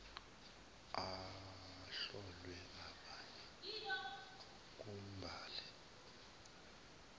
ahlolwe abalwe ngumbali